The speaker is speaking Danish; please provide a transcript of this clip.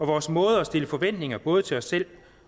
vores måde at stille forventninger både til os selv